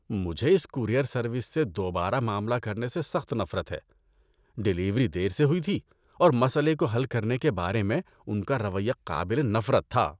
مجھے اس courier service سے دوبارہ معاملہ کرنے سے سخت نفرت ہے۔ ڈیلیوری دیر سے ہوئی تھی، اور مسئلے کو حل کرنے کے بارے میں ان کا رویہ قابل نفرت تھا۔